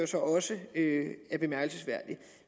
så også er bemærkelsesværdigt